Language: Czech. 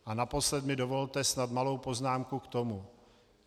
A naposled mi dovolte snad malou poznámku k tomu.